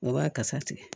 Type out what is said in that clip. U b'a kasa tigɛ